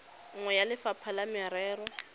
nngwe ya lefapha la merero